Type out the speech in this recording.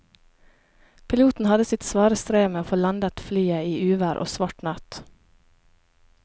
Piloten hadde sitt svare strev med å få landet flyet i uvær og svart natt.